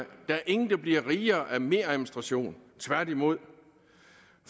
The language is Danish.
er ingen der bliver rigere af meradministration tværtimod